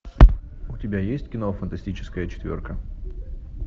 у тебя есть кино фантастическая четверка